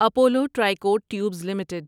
Apollo Tricoat Tubes limited